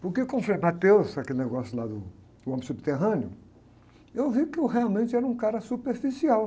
Porque, como o frei, aquele negócio lá do, o homem subterrâneo, eu vi que eu realmente era um cara superficial.